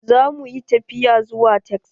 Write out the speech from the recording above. Zamu yi tafiya zuwa Texas.